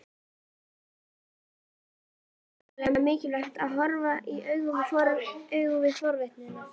Karen: Aðallega mikilvægt til að horfast í augu við fortíðina?